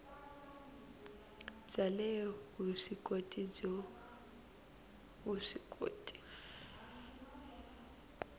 bya le vuswikoti byo vuswikoti